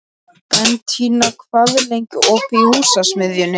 Bentína, hvað er lengi opið í Húsasmiðjunni?